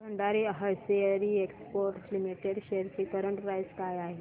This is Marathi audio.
Bhandari hosiery exports limited shares ची करंट प्राइस काय आहे